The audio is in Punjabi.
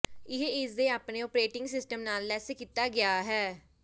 ਇਹ ਇਸ ਦੇ ਆਪਣੇ ਓਪਰੇਟਿੰਗ ਸਿਸਟਮ ਨਾਲ ਲੈਸ ਕੀਤਾ ਗਿਆ ਹੈ